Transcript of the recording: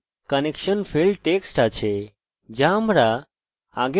আমরা unknown mysql server host পেয়েছি